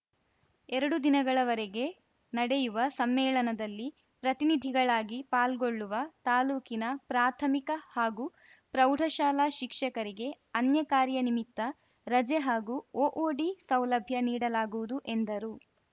ಎರಡು ದಿನಗಳವರೆಗೆ ನಡೆಯುವ ಸಮ್ಮೇಳನಲ್ಲಿ ಪ್ರತಿನಿಧಿಗಳಾಗಿ ಪಾಲ್ಗೊಳ್ಳುವ ತಾಲೂಕಿನ ಪ್ರಾಥಮಿಕ ಹಾಗೂ ಪ್ರೌಢಶಾಲಾ ಶಿಕ್ಷಕರಿಗೆ ಅನ್ಯಕಾರ್ಯ ನಿಮಿತ್ತ ರಜೆ ಹಾಗೂ ಒಒಡಿ ಸೌಲಭ್ಯ ನೀಡಲಾಗುವುದು ಎಂದರು